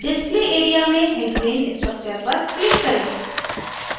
display area में hexane structure पर click करें